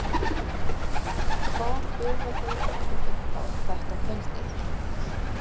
Hvað bjóða þeir okkur upp á þetta kvöldið?